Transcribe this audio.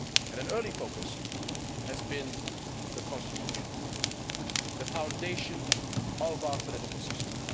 An early focus has been the Constitution, the foundation of our political system.